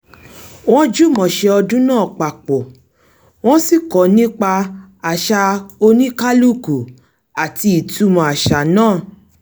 wọ́n jùmọ̀ ṣe ọdún náà papọ̀ wọ́n sì kọ́ nípa àṣà oníkálúkù àti ìtumọ̀ àṣà náà